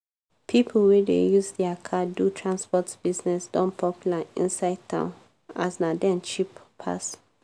pipo wey dey use dia car do transport business don popular inside town as na dem cheap pass.